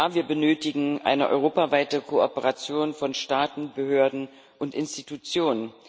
Ja, wir benötigen eine europaweite Kooperation von Staaten, Behörden und Institutionen.